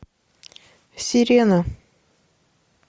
сирена